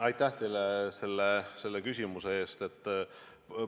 Aitäh teile selle küsimuse eest!